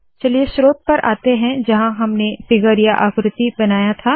चलिए स्रोत पर आते है जहाँ हमने फिगर या आकृति बनाया था